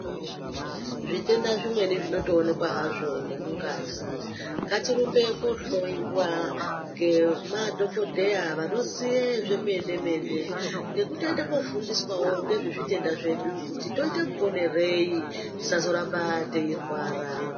Zvitenda zvimweni zvinotoonekwa hazvo nemungazi. Ngatirumbe koohloyiwa ngemadhogodheya vanoziye zvemene-mene. Nekutoenda kundofundiswawo ngezvezvitenda zvedu kuti toite muponerei tisazoramba teirwara.